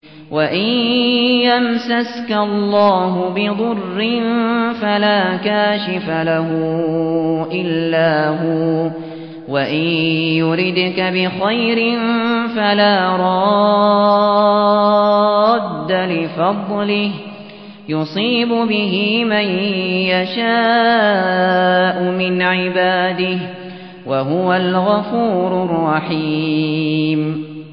وَإِن يَمْسَسْكَ اللَّهُ بِضُرٍّ فَلَا كَاشِفَ لَهُ إِلَّا هُوَ ۖ وَإِن يُرِدْكَ بِخَيْرٍ فَلَا رَادَّ لِفَضْلِهِ ۚ يُصِيبُ بِهِ مَن يَشَاءُ مِنْ عِبَادِهِ ۚ وَهُوَ الْغَفُورُ الرَّحِيمُ